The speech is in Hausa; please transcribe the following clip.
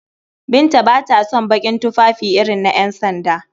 Binta ba ta son baƙin tufafi irin na ƴansanda.